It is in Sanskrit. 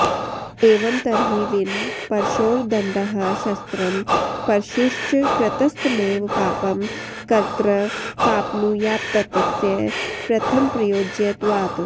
एवं तर्हि विन परशोर्दण्डः शस्त्रं परशुश्च कृतस्तमेव पापं कर्तृ प्राप्नुयात्तस्य प्रथमप्रयोज्यत्वात्